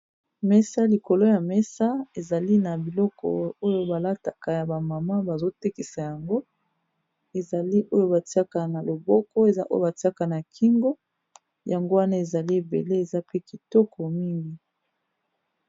mesa likolo ya mesa ezali na biloko oyo balataka ya bamama bazotekisa yango ezali oyo batiaka na loboko ezaoyo batiaka na kingo yango wana ezali ebele eza pe kitoko mingi